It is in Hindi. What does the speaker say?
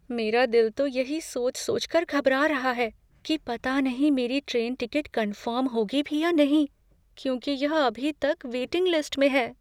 मेरा दिल तो यही सोच सोचकर घबरा रहा है कि पता नहीं मेरी ट्रेन टिकट कन्फर्म होगी भी या नहीं, क्योंकि यह अभी तक वेटिंग लिस्ट में है।